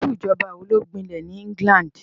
Irú ìjọba wo ló gbinlẹ̀ ní England?